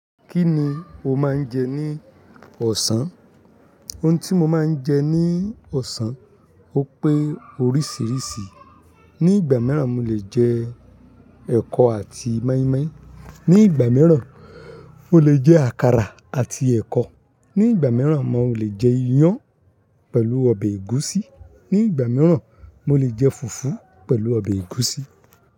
Kí ni o máa ń jẹ ní ọ̀sán? Ohun tí mo máa ń jẹ ní ọ̀sán, ó pé oríṣiríṣi. Ni ìgbà mìíràn, mo lè jẹ ẹkọ àti mọ́ímọ́í. Ni ìgbà mìíràn, mo lè jẹ àkàrà àti ẹkọ. Ni ìgbà mìíràn, mo lè jẹ iyan pẹ̀lú ọbẹ̀ ẹ̀gúsí. Ni ìgbà mìíràn, mo lè jẹ fùfú pẹ̀lú ọbẹ̀ ẹ̀gúsí.